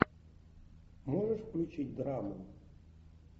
можешь включить драму